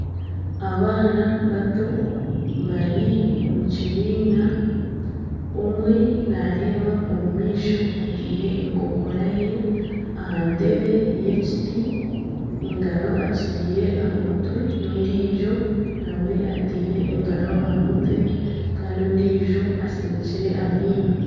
Abaana bato bari omu kibiina omwe nareba omu maisho atiire enkokora ye aha ntebe y'ekiti engaro agitiire aha mutwe n'ondijo nawe atiire engaro aha mutwe kandi ondiijo asinikire amaino.